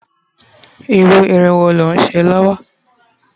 iru irun wo lo nse lowo?